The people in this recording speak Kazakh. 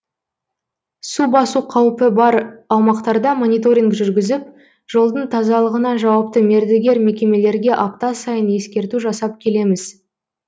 су басу қаупі бар аумақтарда мониторинг жүргізіп жолдың тазалығына жауапты мердігер мекемелерге апта сайын ескерту жасап келеміз